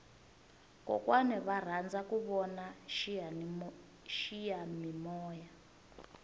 kokwana va rhandza ku vona xiyamimoya